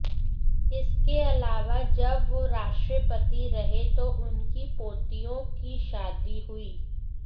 इसके अलावा जब वो राष्ट्रपति रहे तो उनकी पोतियों की शादी हुई